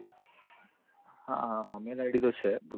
હા હા હા mail id તો છે